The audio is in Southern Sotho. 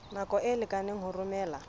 nako e lekaneng ho romela